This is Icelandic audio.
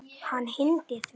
Og hann hlýddi því.